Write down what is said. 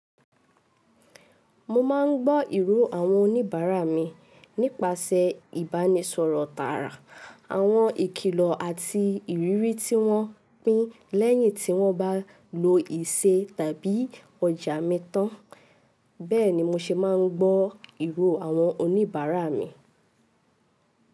Mo máa ń gbọ́ ìró àwọn oníbàárà mi nípasẹ̀ ìbánisọ̀rọ̀ tààrà, àwọn ìkìlọ̀ àti ìrírí tí wọ́n pín lẹ́yìn tí wọ́n bá lo ìṣe tàbí ọjà mi tán. Bẹ́ẹ̀ni, mo ṣe máa ń gbọ́ ìró àwọn oníbàárà mi.